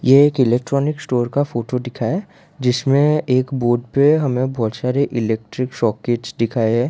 ये एक electronic store का फोटो दिखा है जिसमें एक बोर्ड पे हमें बहोत सारे इलेक्ट्रिक सॉकेटस दिखाया है।